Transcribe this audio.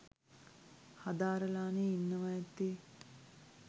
හදාරලානේ ඉන්නවා ඇත්තේ.